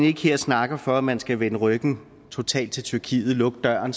ikke her og snakker for at man skal vende ryggen totalt til tyrkiet lukke døren